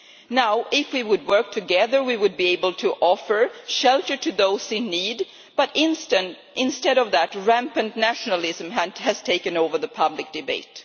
Now, if we were to work together we would be able to offer shelter to those in need, but instead of that, rampant nationalism has taken over the public debate.